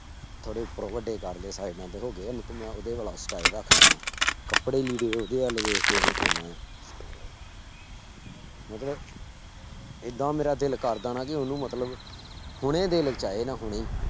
ਥੋੜੇ ਉੱਪਰੋਂ ਵੱਡੇ ਕਰ ਲਏ ਸਾਇਡਾਂ ਤੇ ਹੋ ਗਏ ਆ ਲੇਕਿੰਨ ਮੈਂ ਉਹਦੇ ਵਾਲਾ style ਰੱਖਦਾਂ ਵਾਂ, ਕੱਪੜੇ ਲੀੜੇ ਉਹਦੇ ਵੱਲ ਵੇਖ ਕੇ ਪਾਉਨਾ ਆਂ ਮਤਲਬ ਏਦਾਂ ਮੇਰਾ ਦਿਲ ਕਰਦਾ ਨਾ ਵੀ ਉਹਨੂੰ ਮਤਲਬ ਹੁਣੇ ਆਏ ਨਾ ਹੁਣੇ ਹੀ।